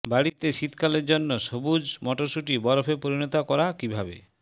বাড়ীতে শীতকালে জন্য সবুজ মটরশুটি বরফে পরিণত করা কিভাবে